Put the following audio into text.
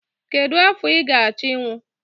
Kedu afọ ị ga-achọ ịnwụ?